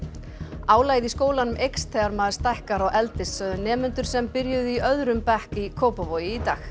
álagið í skólanum eykst þegar maður stækkar og eldist sögðu nemendur sem byrjuðu í öðrum bekk í Kópavogi í dag